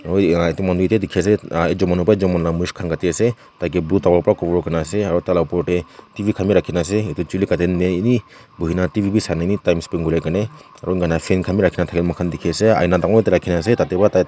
oi ah eta manu teki ase ah ekjun manu parai ekjun manu laka mush kan kati ase taiki blue towel para cover kurina ase aru tai laka opor ti T_V kan bi rakina ase itu jhuli katia time ti eni bohina T_V bi sai kina time spent kuribole karni aru fan kan bi rakina taka mokan teki ase aina tangur ekta rakina ase tati para tai--